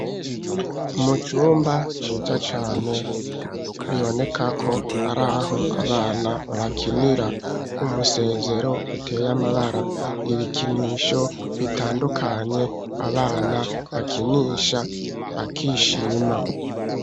Mu cumba ciza cane biboneka ko ari aho abana bakinira umusezero uteye amabara, ibikinisho bitandukanye abana bakinisha bakishima.